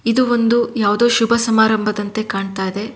ಇದು ಒಂದು ಯಾವುದೋ ಶುಭ ಸಮಾರಂಭದಂತೆ ಕಾಣ್ತಾ ಇದೆ.